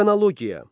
Xronologiya.